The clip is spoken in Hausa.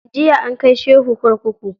Jiya an kai shehu kurkuku.